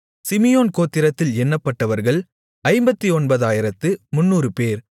Simeon கோத்திரத்தில் எண்ணப்பட்டவர்கள் 59300 பேர்